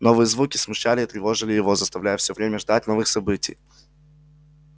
новые звуки смущали и тревожили его заставляя всё время ждать новых событий